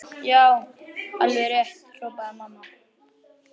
Já, alveg rétt hrópaði mamma.